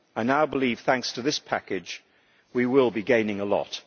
I now believe, thanks to this package, we will be gaining a lot.